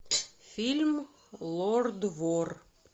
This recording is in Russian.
фильм лорд вор